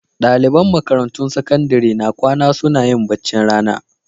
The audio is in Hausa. Ɗaliban makarantun sakandare na kwana suna yin baccin rana.